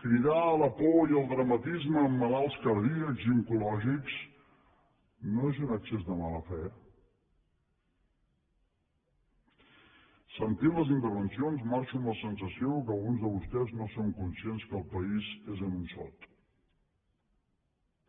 cridar a la por i al dramatisme amb malalts cardíacs i oncològics no és un excés de mala fe sentint les intervencions marxo amb la sensació que alguns de vostès no són conscients que el país és en un sot